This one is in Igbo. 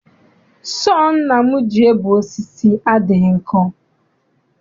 Sọọ nna m ji ebe osisi adịghị nkọ.